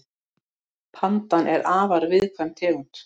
Pandan er afar viðkvæm tegund.